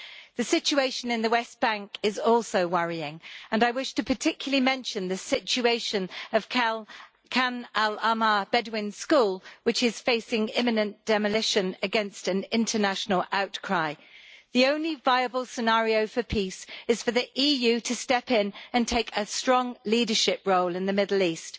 The situation in the West Bank is also worrying, and I wish particularly to mention the situation of Khan al Ahmar Bedouin school, which is facing imminent demolition against an international outcry. The only viable scenario for peace is for the EU to step in and take a strong leadership role in the Middle East.